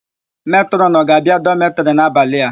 Metrọn ọ ga-abia dọmetịrị n'abalị a?